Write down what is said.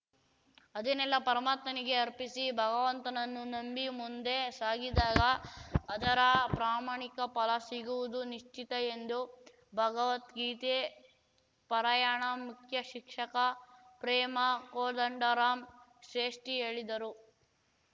ಅದನ್ನೆಲ್ಲ ಪರಮಾತ್ಮನಿಗೆ ಅರ್ಪಿಸಿ ಭಗವಂತನನ್ನು ನಂಬಿ ಮುಂದೆ ಸಾಗಿದಾಗ ಅದರ ಪ್ರಮಾಣಿಕ ಫಲ ಸಿಗುವುದು ನಿಶ್ಚಿತ ಎಂದು ಭಗವದ್ಗೀತೆ ಪರಾಯಣ ಮುಖ್ಯ ಶಿಕ್ಷಕ ಪ್ರೇಮಾ ಕೋದಂಡರಾಮ್ ಶ್ರೇಷ್ಠಿ ಹೇಳಿದರು